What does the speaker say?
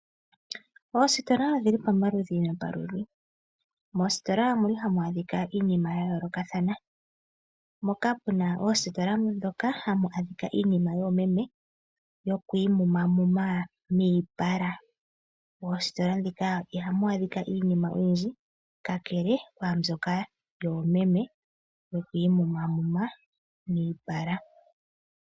Oositola odhili pamaludhi nomaludhi. Moositola ohamu adhika iinima yayoolokathana mpoka pu na oositola moka hamu adhika iinima yoomeme yo ku imumamuma miipala. Moositola ndhika ihamu adhika iinima oyindji kakele kwaambyoka yoomeme yo ku imumamuma miipala.